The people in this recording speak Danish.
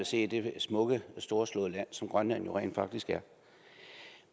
se det smukke storslåede land som grønland rent faktisk er